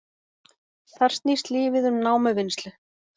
Þar snýst lífið um námuvinnslu